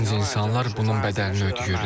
Dinc insanlar bunun bədəlini ödəyirlər.